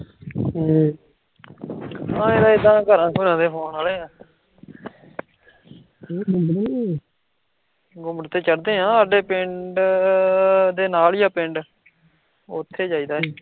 ਤੇ ਚਾਹੁੰਦੇ ਹਾਂ ਤੇ ਪਿੰਡ, ਨਾਲ ਈ ਆ ਪਿੰਡ, ਉਥ੍ਹੇ ਜਾਇਦਾ ਅਸੀਂ